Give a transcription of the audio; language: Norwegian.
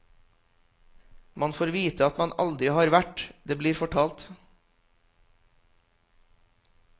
Man får vite at man aldri har vært, det blir fortalt.